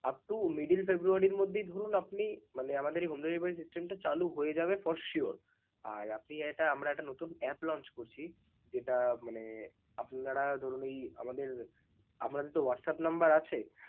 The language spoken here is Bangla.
up to middle February মধ্যেই ধরুন আপনি মানে আমাদের এই home delivery syste, টা চালু হয়ে যাবে for sure. আর আপনি এটা আমরা একটা নতুন app launch করছি যেটা মানে আপনারা ধরুন ওই আমাদের আপনাদের তো ওই WhatsApp number আছে.